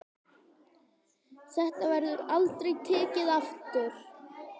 Þetta verður aldrei tekið aftur.